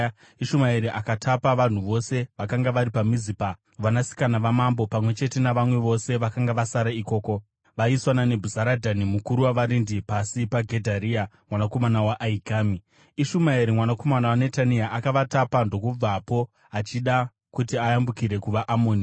Ishumaeri akatapa vanhu vose vakanga vari paMizipa, vanasikana vamambo pamwe chete navamwe vose vakanga vasara ikoko, vaiswa naNebhuzaradhani mukuru wavarindi pasi paGedharia mwanakomana waAhikami. Ishumaeri mwanakomana waNetania akavatapa ndokubvapo achida kuti ayambukire kuvaAmoni.